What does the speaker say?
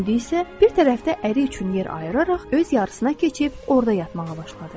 İndi isə bir tərəfdə əri üçün yer ayıraraq öz yarısına keçib orda yatmağa başladı.